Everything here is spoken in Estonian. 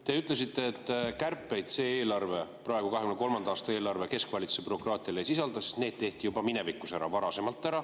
Te ütlesite, et kärpeid see eelarve, 2023. aasta eelarve, keskvalitsuse bürokraatias ei sisalda, sest need tehti juba minevikus, varasemalt ära.